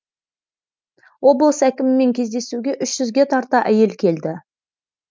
облыс әкімімен кездесуге үш жүзге тарта әйел келді